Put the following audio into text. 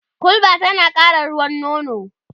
hulba tana ƙara ruwan nono